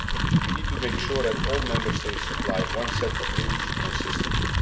We need to make sure that all Member States apply one set of rules consistently.